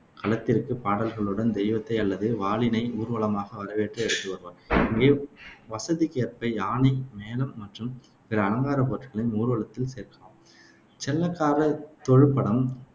களத்திற்கு பாடல்களுடன் தெய்வத்தை அல்லது வாளினை ஊர்வலமாக வரவேற்று எடுத்து வருவார். இங்கே வசதிக்கேற்ப யானை, மேளம் மற்றும் பிற அலங்கார பொருட்களையும் ஊர்வலத்தில் சேர்க்கலாம். செல்லக்கார, தொழுபடம்,